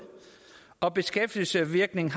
og beskæftigelsesvirkningen